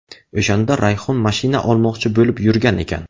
O‘shanda Rayhon mashina olmoqchi bo‘lib yurgan ekan.